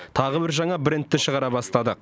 тағы бір жаңа брендті шығара бастадық